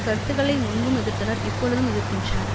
கருத்துக்களை முன்பும் எதிர்த்தனர் இப்பொழுதும் எதிர்க்கின்றனர்